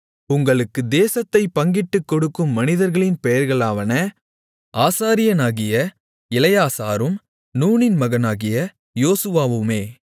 உங்களுக்கு தேசத்தைப் பங்கிட்டுக் கொடுக்கும் மனிதர்களின் பெயர்களாவன ஆசாரியனாகிய எலெயாசாரும் நூனின் மகனாகிய யோசுவாவுமே